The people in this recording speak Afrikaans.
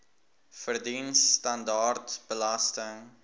verdien standaard belasting